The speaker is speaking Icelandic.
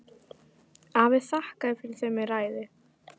Afi þakkaði fyrir þau með ræðu.